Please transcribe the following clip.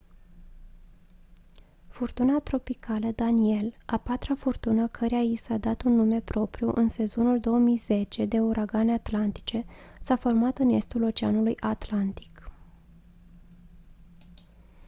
furtuna tropicală danielle a patra furtună căreia i s-a dat un nume propriu în sezonul 2010 de uragane atlantice s-a format în estul oceanului atlantic